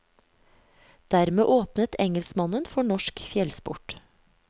Dermed åpnet engelskmannen for norsk fjellsport.